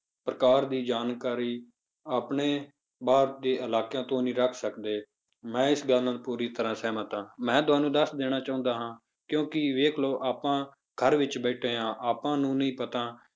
ਪ੍ਰਕਾਰ ਦੀ ਜਾਣਕਾਰੀ ਆਪਣੇ ਬਾਹਰ ਦੇ ਇਲਾਕਿਆਂ ਤੋਂ ਨਹੀਂ ਰੱਖ ਸਕਦੇ, ਮੈਂ ਇਸ ਗੱਲ ਨਾਲ ਪੂਰੀ ਤਰ੍ਹਾਂ ਸਹਿਮਤ ਹਾਂ ਮੈਂ ਤੁਹਾਨੂੰ ਦੱਸ ਦੇਣਾ ਚਾਹੁੰਦਾ ਹਾਂ ਕਿਉਂਕਿ ਵੇਖ ਲਓ ਆਪਾਂ ਘਰ ਵਿੱਚ ਬੈਠੈ ਹਾਂ ਆਪਾਂ ਨੂੰ ਨੀ ਪਤਾ